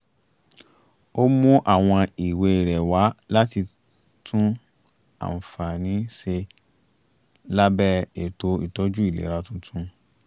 ó mú àwọn ìwé rẹ̀ wá láti tún àǹfààní ṣe lábẹ́ ètò ìtọ́jú ìlera tuntun